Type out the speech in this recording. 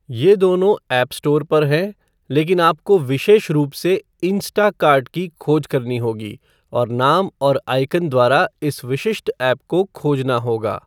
यह दोनों app store पर है, लेकिन आपको विशेष रूप से "इंस्टाकार्ट" की खोज करनी होगी और नाम और आइकन द्वारा इस विशिष्ट ऐप को खोजना होगा।